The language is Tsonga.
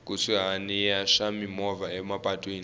kusuhani ya swa mimovha emapatwini